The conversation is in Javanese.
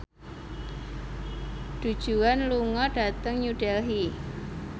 Du Juan lunga dhateng New Delhi